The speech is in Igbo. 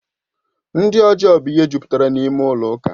Ndị ọjọọ bụ ihe jupụtara n'ime ụlọ ụka